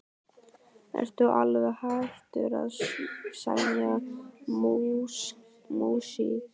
Ertu alveg hættur að semja músík?